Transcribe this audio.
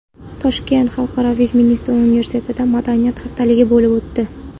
Toshkentdagi Xalqaro Vestminster Universitetida madaniyat haftaligi bo‘lib o‘tdi.